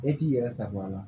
E t'i yɛrɛ sagoya la